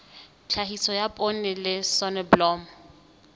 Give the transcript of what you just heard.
tlhahiso ya poone le soneblomo